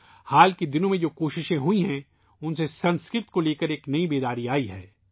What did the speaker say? حالیہ دنوں میں کی جانے والی کوششوں نے سنسکرت کے بارے میں ایک نئی آگاہی پیدا کی ہے